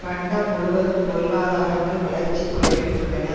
கண்டம் முழுவதும் பொருளாதாரங்கள் வளர்ச்சி குறைவில் உள்ளன